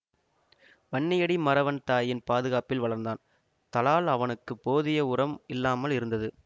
வன்னியடி மறவன் தாயின் பாதுகாப்பில் வளர்ந்தான் தலால் அவனுக்கு போதிய உரம் இல்லாமல் இருந்தது